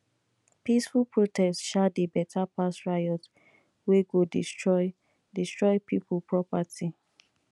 peaceful protest um dey beta pass riot wey go destroy destroy pipo property